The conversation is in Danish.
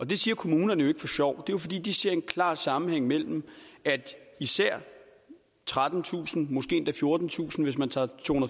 det siger kommunerne jo ikke for sjov det er jo fordi de ser en klar sammenhæng mellem at især trettentusind måske endda fjortentusind hvis man tager